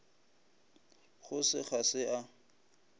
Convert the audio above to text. go se ga se a